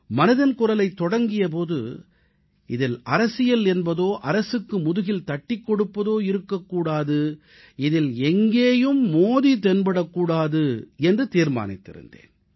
மனதின் குரலைத் தொடங்கிய போது இதில் அரசியல் என்பதோ அரசுக்கு முதுகில் தட்டிக் கொடுப்பதாகவோ இருக்க கூடாது இதில் எங்கேயும் மோடி தென்படக் கூடாது என்று தீர்மானித்திருந்தேன்